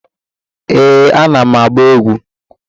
Ee, ana m agba egwu.